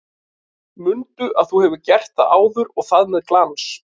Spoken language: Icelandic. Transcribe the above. Mundu að þú hefur gert það áður og það með glans!